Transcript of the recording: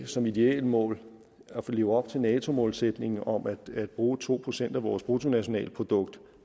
som et idealmål at leve op til nato målsætningen om at bruge to procent af vores bruttonationalprodukt